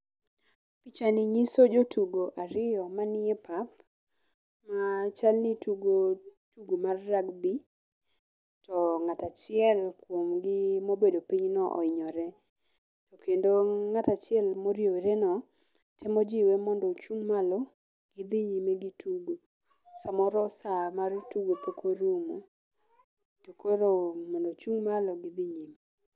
Picha ni nyiso jotugo ariyo manie pap, ma chal ni tugo tugo mar rugbe to ng'ato achiel kuom gi chal mohinyore. To kendo ng'ato achiel morieworeno temo jiwe mondo ochung' malo gidhi nyime gi tugo. Samoro saa mar tugo pok orumo, to koro mondo ochung' malo gidhi nyime.